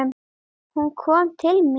Hún kom til mín.